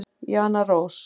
Jana Rós.